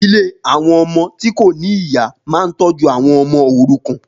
Ilé àwọn ọmọ tí kò ní ìyá máa ń tọ́jú àwọn ọmọ tí kò ní ọmọ òrukàn.